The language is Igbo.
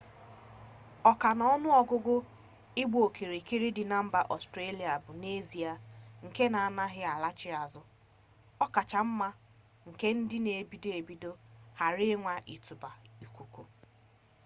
oka-na-onuogugu igba-okirikiri di na mba australia bu n'ezie nke na anaghi alaghachi azu okacha nma nke ndi n'ebido-ebido ghara inwa itubata ikuku